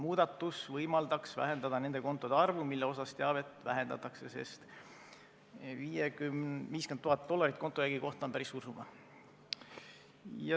Muudatus võimaldaks vähendada nende kontode arvu, mille kohta teavet vahetatakse, sest 50 000 dollarit kontojäägi kohta on päris suur summa.